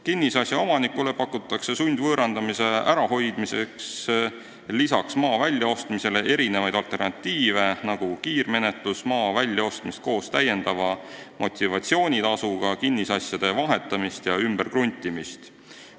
Kinnisasja omanikule pakutakse sundvõõrandamise ärahoidmiseks lisaks maa väljaostmisele erinevaid alternatiive, nagu kiirmenetlust, maa väljaostmist koos täiendava motivatsioonitasuga, kinnisasjade vahetamist ja ümberkruntimist.